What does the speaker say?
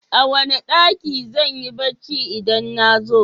A wane ɗaki zanyi bacci idan nazo?